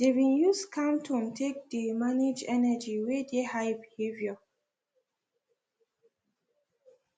they been use calm tone take dey manage energy wey dey high behaviour